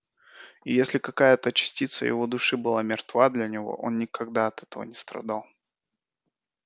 и если какая-то частица его души была мертва для него он никогда от этого не страдал